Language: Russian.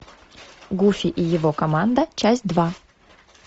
гуфи и его команда часть два